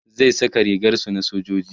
zai Saka rigar su na sojoji